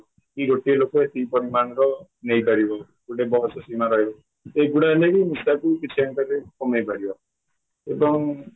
କି ଗୋଟିଏ ଲୋକ ଏତିକି ପରିମାଣର ନେଇପାରିବ ଗୋଟେ ବୟସ ସୀମା ରହିବ ଏଗୁଡା ହେଲେହିଁ ନିଶାକୁ କିଛି ପରିମାଣରେ କମେଇ ପାରିବ ଏବଂ